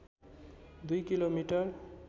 २ kilo metre